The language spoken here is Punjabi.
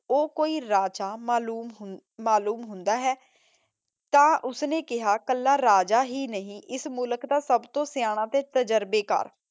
ਊ ਕੋਈ ਰਾਜਾ ਮਾਲੂਮ ਹੁੰਦਾ ਹੈ ਤਾਂ ਓਸਨੇ ਕੇਹਾ ਕਲਾ ਰਾਜਾ ਹੀ ਨਹੀ ਏਸ ਮੁਲਕ ਦਾ ਸਬ ਤੋਂ ਸਿਯਾਨਾ ਤੇ ਤਜਰਬੇ ਕਰ